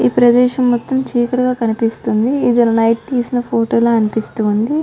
ఈ ప్రదేశం మొత్తం చీకటిగా కనిపిస్తుంది ఇది నైట్ తీసిన ఫోటోలా అనిపిస్తుంది